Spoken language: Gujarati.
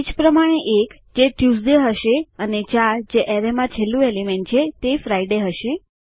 એ જ પ્રમાણે એક જે ટ્યુઝડે હશે અને ચાર જે એરેયમાં છેલ્લું એલિમેન્ટ છે તે ફ્રિડે હશે